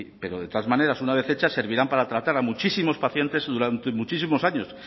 pero de todas maneras una vez hecha servirán para tratar a muchísimos pacientes durante muchísimos años